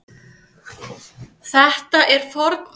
Þetta er forngripur.